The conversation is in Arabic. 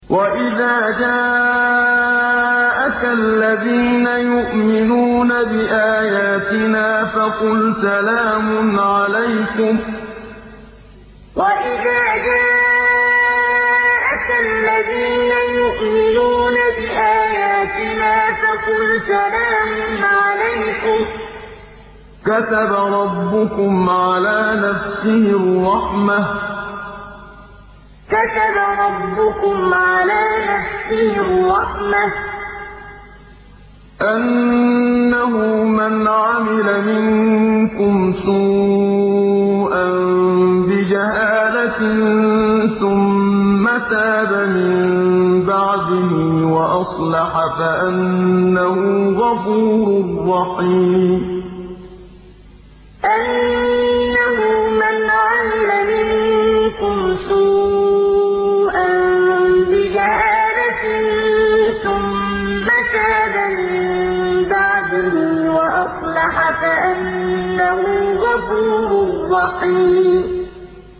وَإِذَا جَاءَكَ الَّذِينَ يُؤْمِنُونَ بِآيَاتِنَا فَقُلْ سَلَامٌ عَلَيْكُمْ ۖ كَتَبَ رَبُّكُمْ عَلَىٰ نَفْسِهِ الرَّحْمَةَ ۖ أَنَّهُ مَنْ عَمِلَ مِنكُمْ سُوءًا بِجَهَالَةٍ ثُمَّ تَابَ مِن بَعْدِهِ وَأَصْلَحَ فَأَنَّهُ غَفُورٌ رَّحِيمٌ وَإِذَا جَاءَكَ الَّذِينَ يُؤْمِنُونَ بِآيَاتِنَا فَقُلْ سَلَامٌ عَلَيْكُمْ ۖ كَتَبَ رَبُّكُمْ عَلَىٰ نَفْسِهِ الرَّحْمَةَ ۖ أَنَّهُ مَنْ عَمِلَ مِنكُمْ سُوءًا بِجَهَالَةٍ ثُمَّ تَابَ مِن بَعْدِهِ وَأَصْلَحَ فَأَنَّهُ غَفُورٌ رَّحِيمٌ